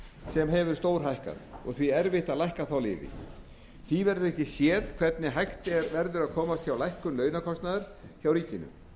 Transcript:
sem hefur stórhækkað og því erfitt að lækka þá liði því verður ekki séð hvernig hægt verður að komast hjá lækkun launakostnaðar hjá ríkinu